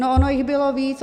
No ono jich bylo víc.